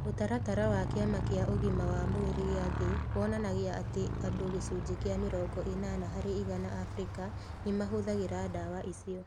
Ũtaratara wa Kĩama kĩa ugima wa mwĩrĩ gĩa thĩ wonanagia atĩ andũ gĩcunjĩ kĩa mĩrongo ĩnana harĩ igana Abirika nĩ mahũthagĩra ndawa icio.